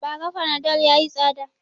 Ba ra fanadol yayi tsada